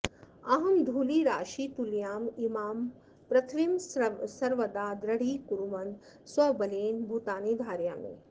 अहं धूलिराशितुल्याम् इमां पृथिवीं सर्वदा दृढीकुर्वन् स्वबलेन भूतानि धारयामि